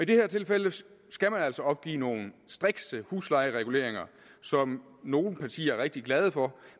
det her tilfælde skal skal man altså opgive nogle strikse huslejereguleringer som nogle partier er rigtig glade for